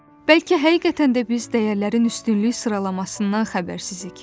Bəlkə həqiqətən də biz dəyərlərin üstünlük sıralamasından xəbərsizik.